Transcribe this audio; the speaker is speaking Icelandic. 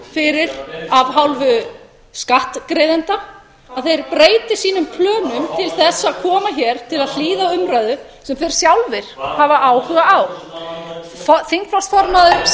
fyrir af hálfu skattgreiðenda að þeir breyti sínum plönum til þess að koma hér til að hlýða á umræðu sem þeir sjálfir hafa áhuga á þingflokksformaður samfylkingarinnar forseti biður þingmenn að halda ekki uppi samræðum í